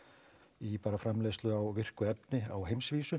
í framleiðslu á virku efni á heimsvísu